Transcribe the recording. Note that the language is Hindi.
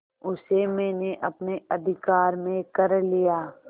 उसे मैंने अपने अधिकार में कर लिया